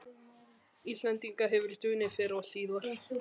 Íslendinga hefur dunið fyrr og síðar.